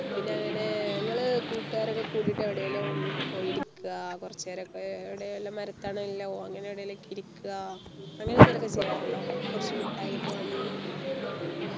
പിന്നെ അങ്ങനെ നിങ്ങള് കൂട്ടുകാരൊക്കെ കൂടീട്ടു എവിടെ എങ്കിലും പോയി ഇരിക്കാ കൊറച്ചു നേരൊക്കെ എവിടേലും മര തണലിലോ അങ്ങനെ എവിടേലു ഒക്കെ ഇരിക്ക അങ്ങനെ എന്തെങ്കിലും ഒക്കെ ചെയ്യറുണ്ടോ കുറച്ചു മിട്ടായി ഒക്കെ വാങ്ങി